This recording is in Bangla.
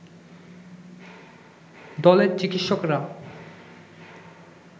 দলের চিকিৎসকরা